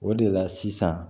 O de la sisan